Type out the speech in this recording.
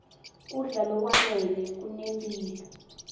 kudla lokwanele kunemphilo